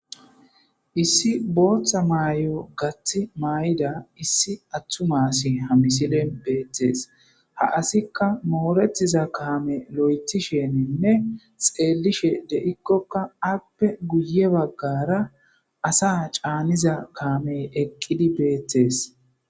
Issi booththa maay7o gaththa may7ida issi attumasi ha misilen beettees. ha asikka mooretiza kaame lo7ethisheninne xeelishe de7ikkokka appe guye baggara asa caaniza kaamey eqqidi beettes.